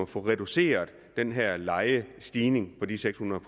få reduceret den her lejestigning på de seks hundrede